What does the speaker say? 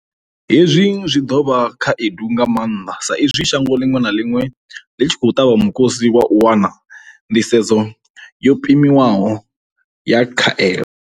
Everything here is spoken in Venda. Hezwi zwi ḓo vha khaedu nga maanḓa saizwi shango ḽiṅwe na ḽiṅwe ḽi tshi khou ṱavha mukosi wa u wana nḓisedzo yo pimiwaho ya khaelo.